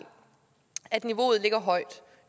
at niveauet ligger højt